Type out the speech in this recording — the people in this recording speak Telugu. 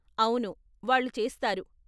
అవును, వాళ్ళు చేస్తారు.